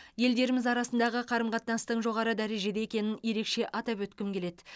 елдеріміз арасындағы қарым қатынастың жоғары дәрежеде екенін ерекше атап өткім келеді